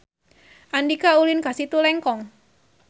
Andika ulin ka Situ Lengkong